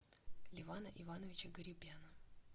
левана ивановича гарибяна